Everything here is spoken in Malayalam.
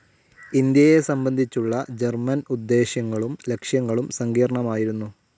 ഇന്ത്യയെ സംബന്ധിച്ചുള്ള ജർമൻ ഉദ്ദേശ്യങ്ങളും ലക്ഷ്യങ്ങളും സങ്കീർണ്ണമായിരുന്നു.